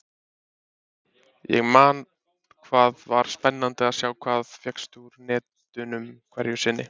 Ég man hvað var spennandi að sjá hvað fékkst úr netunum hverju sinni.